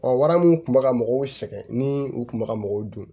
wara mun kun bɛ ka mɔgɔw sɛgɛn ni u kun bɛ ka mɔgɔw dun